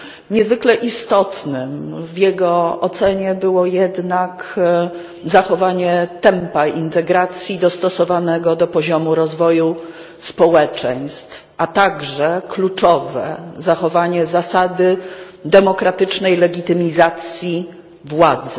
Niezwykle istotne w jego ocenie było jednak zachowanie tempa integracji dostosowanego do poziomu rozwoju społeczeństw, a także kluczowe zachowanie zasady demokratycznej legitymizacji władzy.